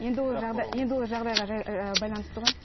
енді ол жағдай енді ол жағдайға байланысты ғой